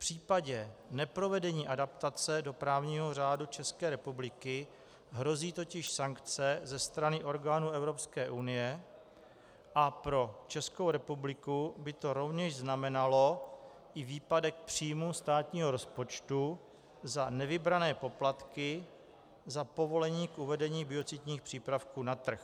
V případě neprovedení adaptace do právního řádu České republiky hrozí totiž sankce ze strany orgánů Evropské unie a pro Českou republiku by to rovněž znamenalo i výpadek příjmů státního rozpočtu za nevybrané poplatky za povolení k uvedení biocidních přípravků na trh.